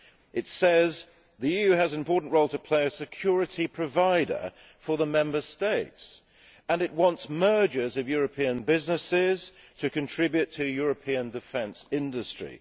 It says, the EU has an important role to play as security provider for the Member States' and it wants mergers of European businesses to contribute to European defence industry.